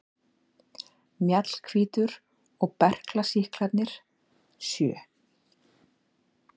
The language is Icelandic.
Mjallhvítur og berklasýklarnir sjö.